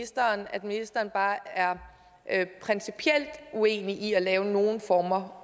at ministeren bare er principielt uenig i at lave nogen former